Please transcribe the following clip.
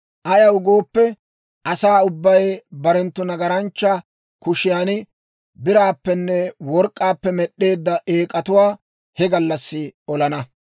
Ayaw gooppe, asaa ubbay barenttu nagaranchcha kushiyan biraappenne work'k'aappe med'd'eedda eek'atuwaa he gallassi olana.